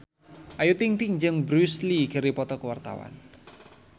Ayu Ting-ting jeung Bruce Lee keur dipoto ku wartawan